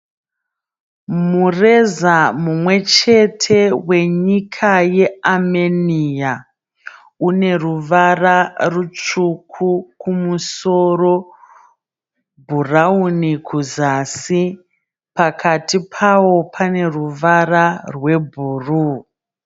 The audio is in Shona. Mureza mumwe chete wenyika yeAmenia. Une ruvara rutsvuku kumusoro, bhurawuni kuzasi. Pakati pawo pane ruvara rwebhuruu.